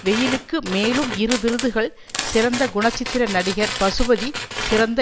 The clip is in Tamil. வெயிலுக்கு மேலும் இரு விருதுகள் சிறந்த குணச்சித்திர நடிகர் பசுபதி சிறந்த